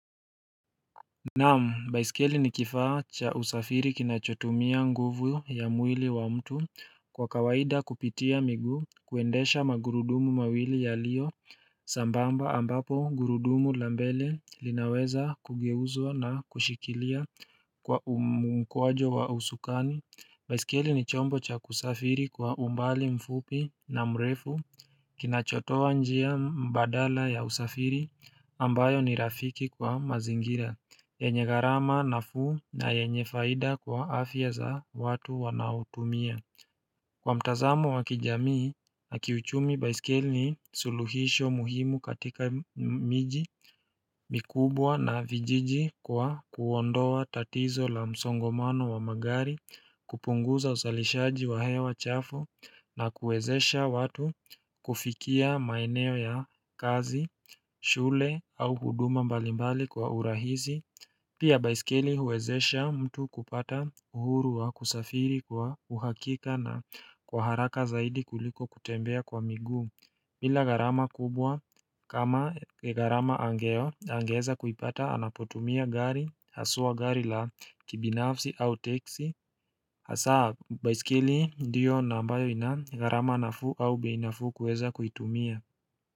Naam, baiskeli ni kifaa cha usafiri kinachotumia nguvu ya mwili wa mtu kwa kawaida kupitia miguu kuendesha magurudumu mawili yaliyo sambamba ambapo gurudumu la mbele linaweza kugeuzwa na kushikilia kwa mkwajo wa usukani. Baiskeli ni chombo cha kusafiri kwa umbali mfupi na mrefu kinachotoa njia badala ya usafiri ambayo ni rafiki kwa mazingira. Yenye gayrama nafuu na yenye faida kwa afya za watu wanaotumia. Kwa mtazamo wa kijamii na kiuchumi baiskeli ni suluhisho muhimu katika miji mikubwa na vijiji kwa kuondoa tatizo la msongomano wa magari kupunguza uzalishaji wa hewa chafu, na kuwezesha watu kufikia maeneo ya kazi shule au huduma mbalimbali kwa urahisi Pia baisikeli huwezesha mtu kupata uhuru wa kusafiri kwa uhakika na kwa haraka zaidi kuliko kutembea kwa miguu. Bila gharama kubwa kama gharama angeo angeweza kuipata anapotumia gari haswa gari la kibinafsi au teksi, saa baiskeli ndiyo ambayo ina gharama nafuu au bei nafuu kuweza kuitumia.